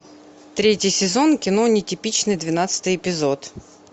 третий сезон кино нетипичный двенадцатый эпизод